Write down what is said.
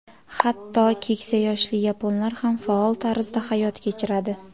Hatto keksa yoshli yaponlar ham faol tarzda hayot kechiradi.